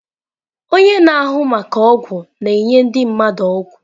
Onye na-ahụ maka ọgwụ na-enye ndị mmadụ ọgwụ.